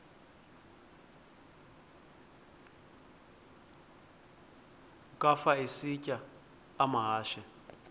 ukafa isitya amahashe